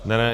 Ne, ne.